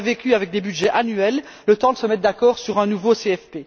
On aurait vécu avec des budgets annuels, le temps de se mettre d'accord sur un nouveau CFP.